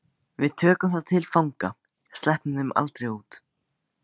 Við tökum þá til fanga. sleppum þeim aldrei út.